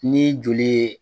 Ni joli ye